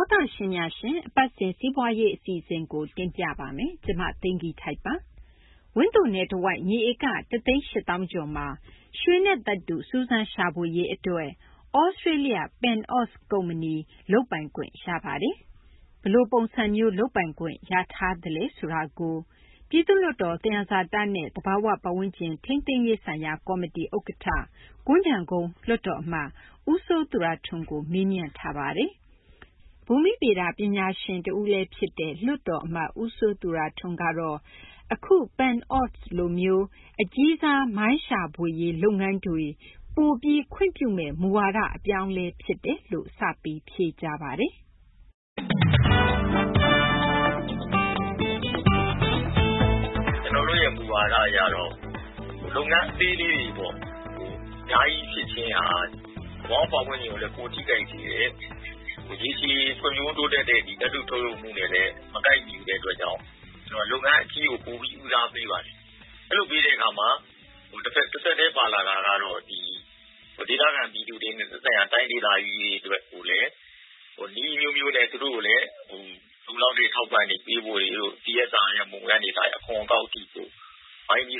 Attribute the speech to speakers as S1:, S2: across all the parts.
S1: ောတရှင်များရှင် အပတ်စဉ် စီးပွားရေး အစီအစဉ်ကို တင်ပြပေးပါမယ်။ ကျမ သိင်္ဂ ီထိုက်ပါ။ ဝန်သိုနယ်တဝိုက် မြေဧက ၁ သိန်း ၈သောင်းကျော်မှာ ရွှေနဲ့ သတ္တု စူးစမ်းရှာဖွေရေး အတွက် သြစတေးလျ PanAust ကုမ္ပဏီ လုပ်ပိုင်ခွင့်ရခဲ့ပါတယ်။ ဘယ်လို ပုံစံမျိုး လုပ်ပိုင်ခွင့်ရထားပါသလဲ ဆိုတာကို ပြည်သူ့လွှတ်တော် သယံဇာတနဲ့ သဘာ၀ ပတ်ဝန်းကျင် ထိန်းသိမ်းရေးဆိုင်ရာ ကော်မတီ ဥက္ကဌ ကွမ်းခြံကုန်း လွှတ်တော်အမတ် ဦးစိုးသူရထွန်းကို မေးမြန်းထားပါတယ်။ ဘူမိဗေဒ ပညာရှင် တဦးလည်း ဖြစ်တဲ့ လွှတ်တော် အမတ် ဦးစိုးသူရထွန်းကတော့ အခု PanAust လိုမျိုး အကြီးစား မိုင်းရှာဖွေ လုပ်ငန်းတွေ ပိုပြီး ခွင့်ပြုမယ့် မူဝါဒ အပြောင်းအလဲဖြစ်တယ်လို့ ဖြေကြားပါတယ်။
S2: ကျနော်တို့ရဲ့ မူဝါဒ အရတော့ လုပ်ငန်း အသေးလေးတွေပေါ့ အများကြီး ဖြစ်ခြင်းဟာ သဘာ၀ ပတ်ဝန်းကျင်ကိုလည်း ပိုထိခိုက်တယ်။ ရေရှည် ဖွံ့ဖြိုးတိုးတက်တဲ့ သတ္တု ထုတ်လုပ်မှုနဲ့လည်း မကိုက်ညီတဲ့ အတွက်ကြောင့် ကျနော်တို့ လုပ်ငန်း အကြီးကို ပို ဦးစားပေးပါတယ်။ အဲလို ပေးတဲ့ အခါမှာ တဆက်တည်း ပါလာတာကတော့ ဒေသခံ ပြည်သူတွေနဲ့ သက်ဆိုင်ရာ တိုင်းဒေသကြီးတွေ အတွက်ကိုလည်း နည်းအမျိုးမျိုးနဲ့ သူတို့ကိုလည်း လုံလောက်တဲ့ အထောက်အပံ့တွေ ပေးဖို့တွေတို့ အခွန်အကောက်တွေတို့ ဝိုင်းပြီး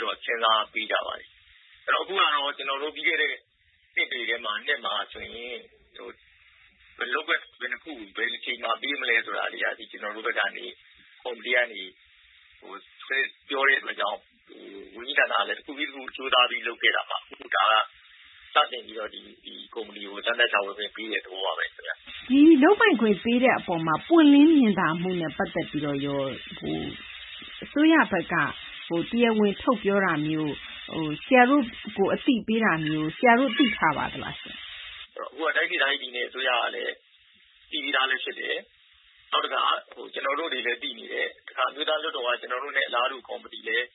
S2: တော့ စဉ်းစားပေးကြပါတယ်။ အခုဟာကတော့ ကျနော်တို့ ပြီးခဲ့တဲ့ နှစ်တွေတွင်းမှာ လုပ်ကွက် ဘယ်နှခုကို ဘယ်အချိန်မှာ ပေးမလဲ ဆိုတာတွေ အထိ ကျနော်တို့ဘက်ကနေ ကော်မတီဘက်ကနေ ပြောတဲ့ အတွက်ကြောင့် ဝန်ကြီး ဌာနဘက်က တခုပြီး တခု ကြိုးစားပြီး လုပ်ခဲ့တာမှာ အခု ဒါက စတင်ပြီးတော့ ဒီကုမ္ပဏီကို စမ်းသပ်ရှာဖွေခွင့် ပေးတဲ့ သဘောပါဘဲ ခင်ဗျ။
S1: ဒီလုပ်ပိုင်ခွင့် ပေးတဲ့ အပေါ်မှာ ပွင့်လင်းမြင်သာမှုနဲ့ ပတ်သက်ပြီးတော့ရော အစိုးရဘက်က တရားဝင် ထုတ်ပြောတာမျိုး၊ အသိပေးတာမျိုး ဆရာတို့ သိထားပါသလား။
S2: အခုဟာက တိုင်းဒေသကြီး ပြည်နယ် အစိုးရကလည်း သိပြီးသားလည်း ဖြစ်တယ်။ နောက်တခါ ကျနော်တို့တွေလည်း သိနေတယ်။ တခါ အမျိုးသား လွှတ်တော်က ကျနော်တို့နဲ့ အလားတူ ကော်မတီလည်း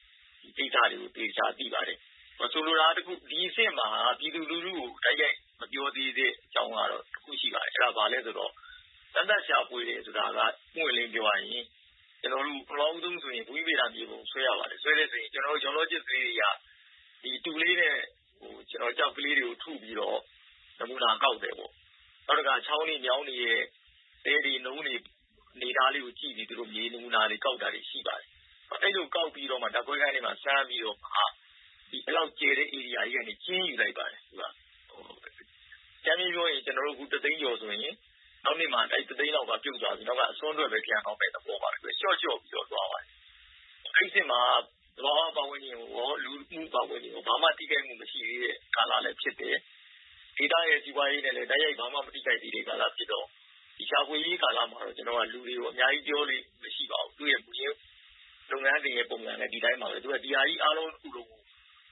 S2: ဒီကိစ္စတွေကို သေသေချာချာ သိပါတယ်။ ဆိုလိုတာက ဒီအဆင့်မှာ ပြည်သူလူထုကို တိုက်ရိုက် မပြောသေးတဲ့ အကြောင်းကတော့ တခုရှိပါတယ်။ စမ်းသပ် ရှာဖွေတယ်ဆိုတာက ပွင့်ပွင့်လင်းလင်း ပြောရရင် ပထမဆုံး ဆိုရင် ဘူမိဗေဒ မြေပုံ ဆွဲရပါတယ်။ ဆွဲတယ်ဆိုရင် ကျနော်တို့ Geologic နည်း အရ တူကလေးနဲ့ ကျောက်ကလေးတွေကို ထုပြီးတော့ နမူနာ ကောက်တယ်ပေါ့။ နောက်တခါ ချောင်းတွေ မြောင်းတွေရဲ့ သဲတွေ နုန်းတွေ အနေအထားတွေ ကြည့်ပြီး သူတို့ မြေနမူနာ ကောက်တာတွေ ရှိပါတယ်။ အဲလို ကောက်ပြီးတော့မှ ဓာတ်ခွဲခန်းထဲမှာ စမ်းပြီးတော့မှ အဲလောက်ကျယ်တဲ့ ဧရိယာ ကြီးကနေ ကျဉ်းယူလိုက်ပါတယ်။ အကြမ်းဖျဉ်း ပြောရင် အခု ၁ သိန်းကျော် ဆိုရင် နောက်နှစ်မှာ အဲဒီ ၁ သိန်းလောက်က ပြုတ်သွားပြီး နောက်က အစွန်းထွက်ဘဲ ကျန်တော့မယ့် သဘောပါ။ လျှော့ လျှော့ပြီးတော့ သွားပါတယ်။ အဲဒီ အဆင့်မှာ သဘာ၀ ပတ်ဝန်းကျင်ကိုရော လူမှု ပတ်ဝန်းကျင်ကိုရော ဘာမှ ထိခိုက်မှု မရှိသေးတဲ့ ကာလလည်း ဖြစ်တယ်။ ဒေသရဲ့ စီးပွားရေးနဲ့လည်း တိုက်ရိုက် ဘာမှ ထိခိုက်မှု မရှိသေးတဲ့ ကာလ ဖြစ်တော့ ဒီ ရှာဖွေရေး ကာလမှာတော့ ဒီ လူတွေကို အများကြီး ပြောလေ့ မရှိပါဘူး။ သူ့ရဲ့ မူရင်း လုပ်ငန်းစဉ်ရဲ့ ပုံစံက ဒီတိုင်းပါဘဲ ခင်ဗျ။ သူက ဒီဟာကြီး အားလုံး တခုလုံးကို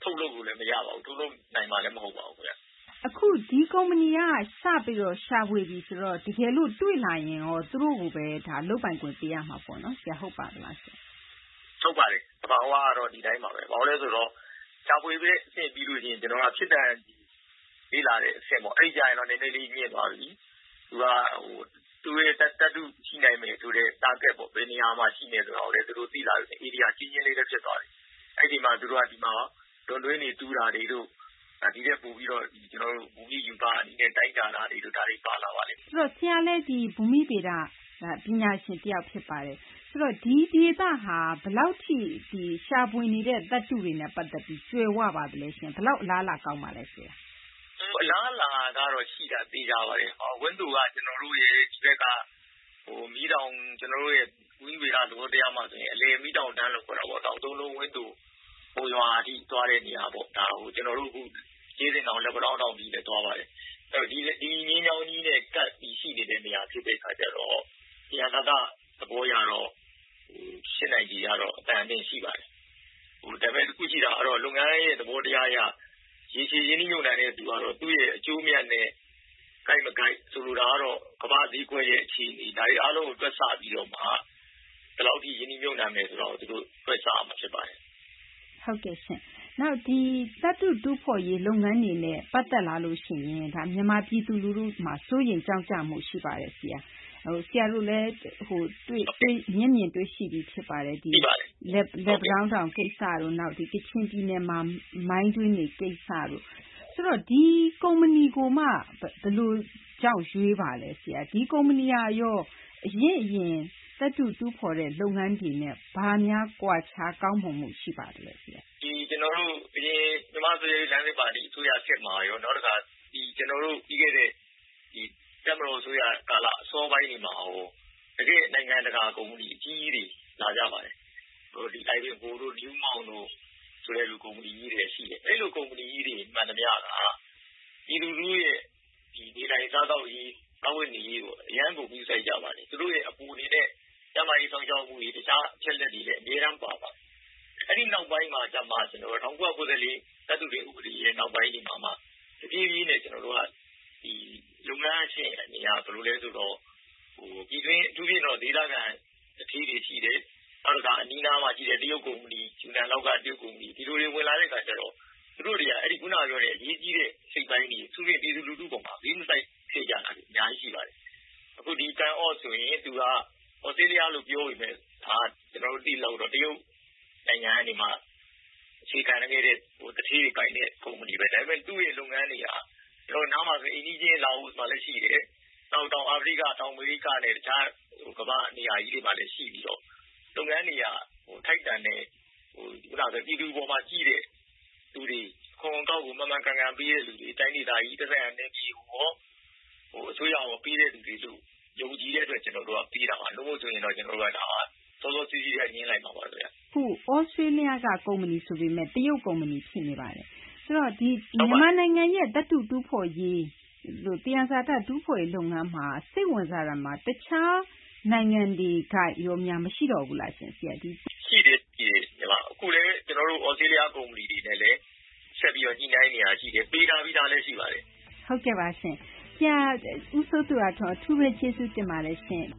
S2: ထုတ်လုပ်လို့လည်း မရပါဘူး။ ထုတ်လုပ်နိုင်မှာလည်း မဟုတ်ပါဘူး ခင်ဗျ။
S1: အခု ဒီကုမ္ပဏီက စပြီးတော့ ရှာဖွေပြီ ဆိုတော့ တကယ်လို့ တွေ့လာရင်ရော သူတို့ကိုဘဲ လုပ်ပိုင်ခွင့် ပေးရမှာပေါ့နော် ဆရာ။ ဟုတ်ပါသလားရှင့်။
S2: ဟုတ်ပါတယ်။ သဘာ၀ ကတော့ ဒီတိုင်းပါဘဲ။ ဘာကြောင့်လဲ ဆိုတော့ ရှာဖွေတဲ့ အဆင့် ပြီးလို့ ရှိရင် ဖြစ်နိုင်ခြေ လေ့လာတဲ့ အဆင့်ပေါ့ အဲဒီကျရင်တော့ နည်းနည်းလေး မြင့်သွားပြီ။ သူက သူ့ရဲ့ သတ္တု ရှိနိုင်မယ်ဆိုတဲ့ Target ပေါ့ ဘယ်နေရာမှာ ရှိမယ်ဆိုတာကိုလည်း သူတို့သိလာပြီ။ နေရာ ကျဉ်းကျဉ်းလေးလည်း ဖြစ်သွားပြီ။ အဲဒီမှာ သူတို့က ဒီမှာ အစမ်းတွင်းတွေတူးတာတွေတို့ ဒီထက်ပိုပြီးတော့ ဘူမိရူပနဲ့ တိုင်းတာတာတို့ ဒါတွေ ပါလာပါလိမ့်မယ်။
S1: ဆိုတော့ ဆရာလည်း ဘူမိဗေဒ ပညာရှင် တယောက် ဖြစ်ပါတယ်။ ဆိုတော့ ဒီဒေသဟာ ဘယ်လောက်ထိ ရှာဖွေနေတဲ့ သတ္တုတွေနဲ့ ပတ်သက်ပြီး ကြွယ်၀ ပါသလဲရှင့်။ ဘယ်လောက် အလားအလာ ကောင်းပါလဲ ဆရာ။
S2: အလားအလာ ကတော့ ရှိတာ သေချာပါတယ်။ ဘာလို့လည်း ဆိုတော့ ဝန်းသိုက ကျနော်တို့ရဲ့ မီးတောင် - ဘူမိဗေဒ သဘောတရားမှာ ဆိုရင် အလယ် မီးတောင်တန်းလို့ ခေါ်တာပေါ့။ တောင်သုံးလုံး ဝန်းသို မုံရွာထိ သွားတဲ့ နေရာပေါ့။ ဒါကို ကျနော်တို့ ကြေးစင်တောင်၊ လက်ပံတန်းတောင် ထိလည်း သွားပါတယ်။ ဒီ မျဉ်းကြောင်းကြီးနဲ့ ကပ်ပြီး ရှိနေတဲ့ နေရာ ဖြစ်တဲ့ အခါကျတော့ သယံဇာတ သဘောကတော့ ဖြစ်နိုင်ခြေ ကတော့ အတန်အသင့် ရှိပါတယ်။ ဒါပေမယ့် တခု ရှိတာကတော့ လုပ်ငန်းရဲ့ သဘော တရား အရ ရေရှည် ရင်းနှီးမြှုပ်နှံတဲ့ လူကတော့ သူ့ရဲ့ အကျိုးအမြတ်နဲ့ ကိုက် မကိုက် ဆိုလိုတာကတော့ ကမ္ဘာ့ဈေးကွက်ရဲ့ အခြေအနေ ဒါတွေ အားလုံးကို တွက်ဆပြီးတော့မှ ဘယ်လောက်ထိ ရင်းနှီးမြှုပ်နှံမယ် ဆိုတာကို သူတို့ တွက်ဆရမှာ ဖြစ်ပါတယ်။
S1: ဟုတ်ကဲ့ရှင့်။ နောက် ဒီ သတ္တု တူးဖော်ရေး လုပ်ငန်းတွေနဲ့ ပတ်သက်လာရင် မြန်မာ ပြည်သူ လူထုမှာ စိုးရိမ် ကြောင့်ကြမှု ရှိပါတယ် ဆရာ။ ဆရာတို့လည်း မျက်မြင်တွေ့ရှိပြီး ဖြစ်ပါတယ်။ ဒီ လက်ပံတောင်းတောင် ကိစ္စတို့ နောက် ကချင်ပြည်နယ်မှာ မိုင်းတွင်းတွေ ကိစ္စတို့ ဆိုတော့ ဒီကုမ္ပဏီကိုမှ ဘယ်လိုကြောင့် ရွေးပါလဲ။ ဒီကုမ္ပဏီကရော အရင့် အရင် သတ္တု တူးဖော်တဲ့ လုပ်ငန်းတွေနဲ့ ဘာများ ကွာခြား ကောင်းမွန်မှု ရှိပါသလဲ ဆရာ။
S2: ကျနော်တို့ ဒီ အရင် မြန်မာ့ ဆိုရှယ်လစ် လမ်းစဉ် ပါတီ ခေတ်မှာရော နောက် ကျနော်တို့ ပြီးခဲ့တဲ့ တပ်မတော် အစိုးရ ကာလ အစောပိုင်းတွေမှာရော တကယ့် နိုင်ငံတကာ ကုမ္ပဏီ အကြီးကြီးတွေ လာကြပါတယ်။ အိုင်ဗင်ဟိုတို့ Newmont တို့ ဆိုတဲ့ ကုမ္ပဏီကြီးတွေက ရှိတယ်။ အဲလို ကုမ္ပဏီကြီးတွေ မှန်သမျှက ပြည်သူလူထုရဲ့ နေထိုင်စားသောက်ရေး စားဝတ်နေရေးကို အရမ်းကို ဂရုစိုက်ကြပါတယ်။ ကျန်းမာရေး စောင့်ရှောက်မှုတွေ၊ တခြား အချက်အလက်တွေ အမြဲတမ်း ပါပါတယ်။ အဲဒီ နောက်ပိုင်းမှာမှ ၁၉၉၄ သတ္တုတွင်း ဥပဒေရဲ့ နောက်ပိုင်းမှာမှ တဖြည်းဖြည်းနဲ့ ကျနော်တို့က လုပ်ငန်းက ဘယ်လိုလဲ ဆိုတော့ အထူးသဖြင့်တော့ ဒေသခံ သူဌေးတွေ ရှိတယ်။ နောက်တခါ အနီးအနားမှာ ရှိတဲ့ တရုတ် ယူနန်လောက်က တရုတ် ကုမ္ပဏီတွေ ဒီလူတွေ ဝင်လာတဲ့ အခါကျတော့ သူတို့တွေက ခုန ပြောတဲ့ အရေးကြီးတဲ့ အစိတ်အပိုင်းတွေ အထူးသဖြင့် ပြည်သူလူထု အပေါ်မှာ ဂရုမစိုက်ခဲ့ကြတာတွေ အများကြီး ရှိပါတယ်။ အခု ဒီ PanAust ဆိုရင် သူက သြစတေးလျ လို့ ပြောပေမယ့် ကျနော်တို့ သိသလောက်တော့ တရုတ်နိုင်ငံကနေမှ အခြေခံခဲ့တဲ့ သူဌေးတွေ ပိုင်တဲ့ ကုမ္ပဏီဘဲ။ ဒါပေမယ့် သူ့ရဲ့ လုပ်ငန်းတွေက ကျနော်တို့ နားမှာ ဆိုရင် အိမ်နီးချင်း လာအိုမှာလည်း ရှိတယ်၊ နောက် တောင်အာဖရိက ၊ တောင် အမေရိကနဲ့ တခြား ကမ္ဘာ့နေရာတွေမှာလည်း ရှိပြီးတော့ လုပ်ငန်းတွေက ထိုက်တန်တဲ့ ပြည်သူ အပေါ်မှာ ကြည့်တဲ့ သူတွေ၊ နောက်တခါ အခွန် အကောက်ကို မှန်မှန်ကန်ကန် ပေးတဲ့ သူတွေ၊ တိုင်းဒေသကြီး သက်ဆိုင်ရာ နယ်မြေရော အစိုးရရော ပေးတဲ့သူတွေလို့ ယုံကြည်တဲ့ အတွက် ကျနော်တို့က ပေးတာပါ။ မဟုတ်ရင်တော့ ကျနော်တို့က စောစောစီးစီး ကတည်းက ငြင်းလိုက်မှာပါ။
S1: အခု သြစတေးလျက ကုမ္ပဏီ ဆိုပေမယ့် တရုတ် ကုမ္ပဏီ ဖြစ်နေပါတယ်။ ဆိုတော့ ဒီ မြန်မာနိုင်ငံရဲ့ သတ္တု တူးဖော်ရေး သယံဇာတ တူးဖော်ရေးလုပ်ငန်းမှာ စိတ်ဝင်စားတာမှာ တခြား နိုင်ငံတွေက ရောများ မရှိတော့ဘူးလားရှင့် ဆရာ။
S2: ရှိတယ်။ ရှိတယ်။ အခုလည်း သြစတေးလျ ကုမ္ပဏီတွေနဲ့လည်း ဆက်ပြီး ညှိနှိုင်းနေတာ ရှိတယ်။ ပေးထားပြီးသားလည်း ရှိပါတယ်။
S1: ဟုတ်ကဲ့ပါရှင့်။ ဆရာ ဦးစိုးသူရထွန်း အထူးဘဲ ကျေးဇူးတင်ပါတယ်ရှင့်